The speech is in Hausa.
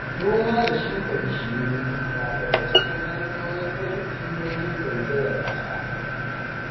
Noma da shuka bishiyoyi na daga cikin hanyoyin rage illolin zaizayar ƙasa.